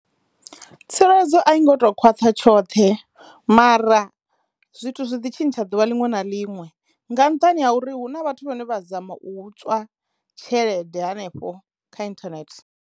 Tsireledzo a i ngo to khwaṱha tshoṱhe mara zwithu zwi ḓi tshintsha ḓuvha liṅwe na liṅwe nga nṱhani ha uri hu na vhathu vhane vha dzama u tswa tshelede hanefho kha inthanethe.